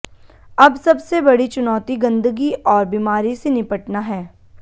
अब सबसे बड़ी चुनौती गंदगी और बीमारी से निपटना है